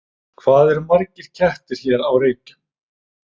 Hvað eru margir kettir hér á Reykjum?